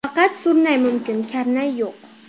Faqat surnay mumkin, karnay yo‘q”.